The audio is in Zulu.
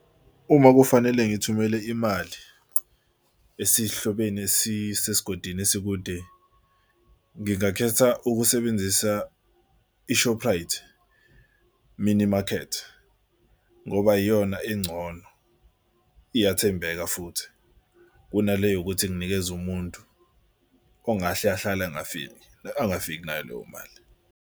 Uma kufanele ngithumele imali esihlobene esisesigodini esikude, ngingakhetha ukusebenzisa i-Shorprite mini market ngoba iyona engcono iyathembeka futhi kunale yokuthi nginikeze umuntu ongahle ahlale engafiki, angafiki nayo leyo mali.